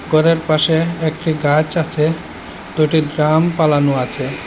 ঘরের পাশে একটি গাছ আছে দুটি ড্রাম পালানো আছে।